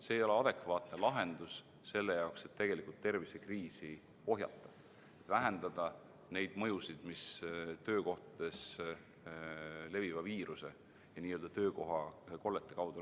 See ei ole adekvaatne lahendus selle jaoks, et tegelikult tervisekriisi ohjeldada, vähendada neid mõjusid, mis töökohtades leviva viiruse ja n-ö töökohakollete tõttu on.